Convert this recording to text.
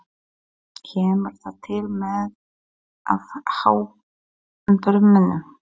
Kemur það til með að há bormönnum?